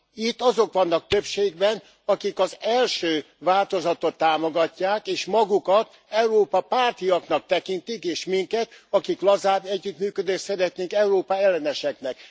Itt azok vannak többségben, akik az első változatot támogatják, és magukat Európa pártiaknak tekintik, és minket, akik lazább együttműködést szeretnénk, Európa elleneseknek.